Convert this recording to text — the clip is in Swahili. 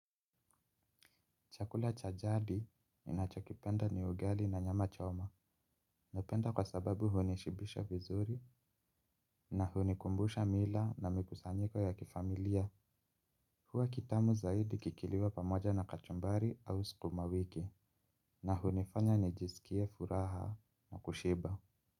Chakula cha jadi ninachokipenda ni ugali na nyama choma. Napenda kwa sababu hunishibisha vizuri na hunikumbusha mila na mikusanyiko ya kifamilia. Huwa kitamu zaidi kikiliwa pamoja na kachumbari au sukuma wiki. Na hunifanya nijisikie furaha na kushiba.